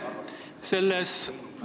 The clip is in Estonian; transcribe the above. Aitäh!